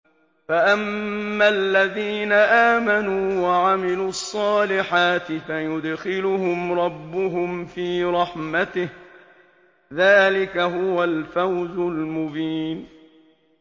فَأَمَّا الَّذِينَ آمَنُوا وَعَمِلُوا الصَّالِحَاتِ فَيُدْخِلُهُمْ رَبُّهُمْ فِي رَحْمَتِهِ ۚ ذَٰلِكَ هُوَ الْفَوْزُ الْمُبِينُ